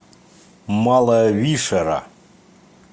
малая вишера